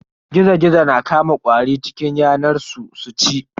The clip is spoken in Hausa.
Gizo-Gizo na Kama ƙwari cikin yanar su su ci.